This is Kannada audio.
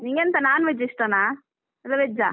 ನಿಂಗೆಂತ non veg ಇಷ್ಟಾನಾ ಅಲ್ಲ veg ಆ?